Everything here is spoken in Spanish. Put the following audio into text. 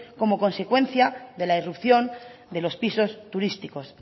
como consecuencia de la irrupción de los pisos turísticos